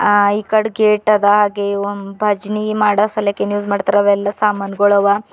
ಆ ಈ ಕಡ್ ಗೇಟ್ ಅದ ಹಾಗೆ ಒಂದು ಭಜನಿ ಮಾಡೋ ಸಲಕ್ಕೆ ಏನು ಯೂಸ್ ಮಾಡ್ತಾರೋ ಅವೆಲ್ಲ ಸಾಮಾನ್ಗುಳವ.